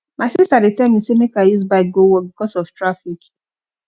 my sista dey tell me sey make i use bike go work because of traffic